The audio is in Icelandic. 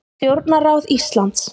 Stjórnarráð Íslands.